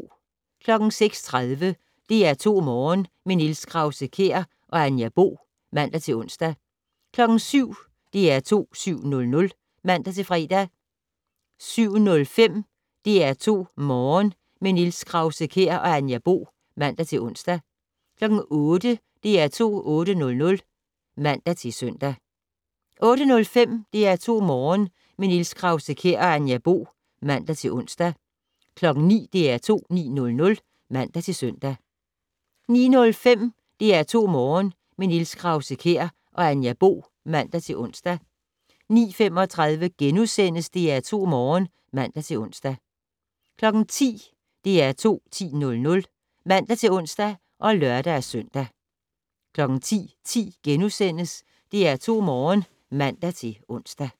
06:30: DR2 Morgen - med Niels Krause-Kjær og Anja Bo (man-ons) 07:00: DR2 7:00 (man-fre) 07:05: DR2 Morgen - med Niels Krause-Kjær og Anja Bo (man-ons) 08:00: DR2 8:00 (man-søn) 08:05: DR2 Morgen - med Niels Krause-Kjær og Anja Bo (man-ons) 09:00: DR2 9:00 (man-søn) 09:05: DR2 Morgen - med Niels Krause-Kjær og Anja Bo (man-ons) 09:35: DR2 Morgen *(man-ons) 10:00: DR2 10:00 (man-ons og lør-søn) 10:10: DR2 Morgen *(man-ons)